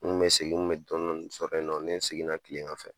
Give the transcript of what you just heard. N kun bɛ segin, n kun bɛ dɔɔni dɔɔni sɔrɔ yen nɔ ni n seginna kilegan fɛ.